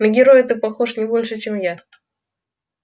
на героя ты похож не больше чем я